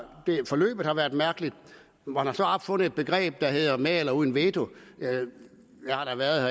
at forløbet har været mærkeligt man har så opfundet et begreb der hedder med eller uden veto jeg har da været